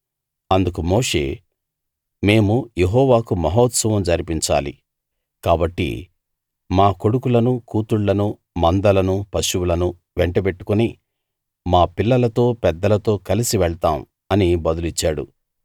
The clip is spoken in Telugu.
అందుకు మోషే మేము యెహోవాకు మహోత్సవం జరిపించాలి కాబట్టి మా కొడుకులను కూతుళ్ళను మందలను పశువులను వెంటబెట్టుకుని మా పిల్లలతో పెద్దలతో కలసి వెళ్తాం అని బదులిచ్చాడు